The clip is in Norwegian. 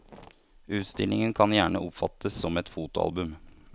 Utstillingen kan gjerne oppfattes som et fotoalbum.